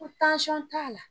Ko t'a la